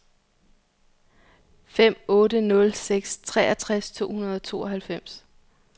fem otte nul seks treogtres to hundrede og tooghalvfems